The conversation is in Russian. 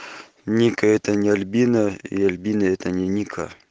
ника это не альбина и альбина это не ника